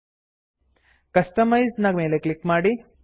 customise customise ನ ಮೇಲೆ click ಮಾಡಿ